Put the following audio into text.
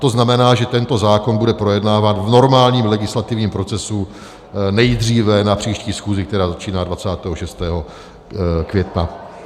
To znamená, že tento zákon bude projednáván v normálním legislativním procesu, nejdříve na příští schůzi, která začíná 26. května.